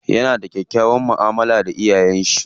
Yana da kyakkyawan mu'amala da iyayen shi.